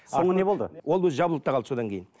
соңы не болды ол өзі жабылып та қалды содан кейін